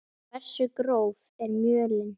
Hversu gróf er mölin?